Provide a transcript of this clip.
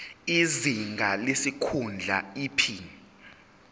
izinga lesikhundla iphini